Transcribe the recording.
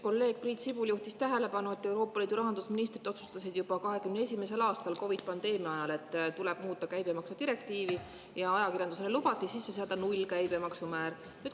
Kolleeg Priit Sibul just juhtis tähelepanu, et Euroopa Liidu rahandusministrid otsustasid juba 2021. aastal COVID‑i pandeemia ajal, et tuleb muuta käibemaksudirektiivi, ja ajakirjandusele lubati sisse seada nullkäibemaksumäär.